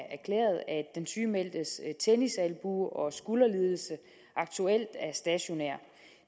den sygemeldtes tennisalbue og skulderlidelse aktuelt er stationær